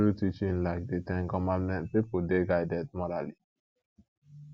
through teaching like di ten commandment pipo dey guided morally